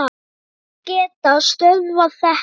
Hverjir geta stöðvað þetta?